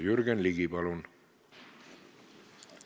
Jürgen Ligi, palun!